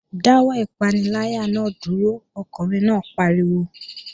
Dáwọ́ ìpaniláyà náà dúró! Ọkùnrin náà pariwo